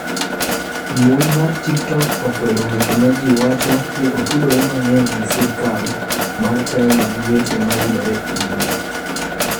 Mbui mar TikTok okwedo weche ma ji wacho ni otudore mang'eny gi sirkal mar china gi weche ma yudore e mbui.